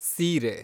ಸೀರೆ